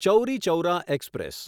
Chauri Chaura express